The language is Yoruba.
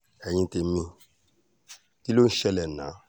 ẹ̀yin tèmi kí ló ń ṣe yín ná